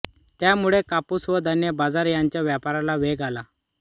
त्यामुळे कापूस व धान्य बाजार यांच्या व्यापाराला वेग आला